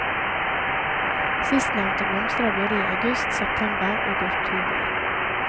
Sistnevnte blomstrer både i august, september og oktober.